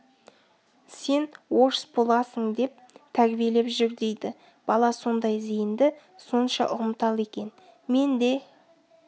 сен енді орыс боласың деп тәрбиелеп жүр дейді бала сондай зейінді сонша ұғымтал екен мен де